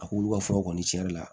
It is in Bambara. A k'olu ka furaw kɔni cɛn yɛrɛ la